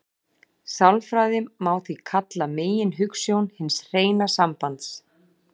Sjálfræði má því kalla meginhugsjón hins hreina sambands.